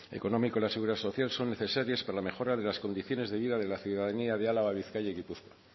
económico de la seguridad social son necesarias para la mejora de las condiciones de vida de la ciudadanía álava bizkaia y gipuzkoa